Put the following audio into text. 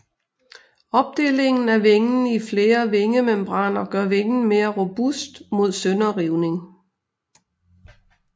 Opdelingen af vingen i flere vingemembraner gør vingen mere robust mod sønderrivning